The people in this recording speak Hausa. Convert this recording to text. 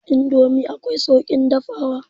Indomi akwai sauƙin dafawa.